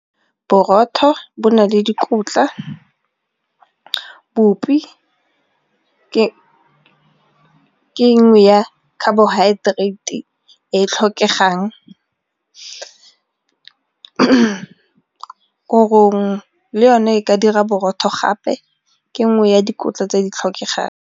Borotho bo na le dikotla bopi ke nngwe ya carbohydrates e e tlhokegang, korong le yone e ka dira borotho gape ke nngwe ya dikotla tse di tlhokegang.